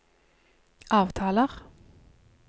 avtaler